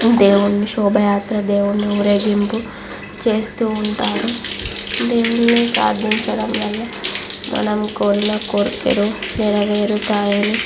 దేవుని శోభయాత్ర దేవుని ఊరేగింపు చేస్తూ ఉంటారు. దేవుని ప్రార్ధించడం వల్ల మనం కోరిన కోరికలు నెరవేరుతాయని --